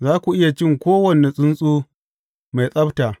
Za ku iya cin kowane tsuntsu mai tsabta.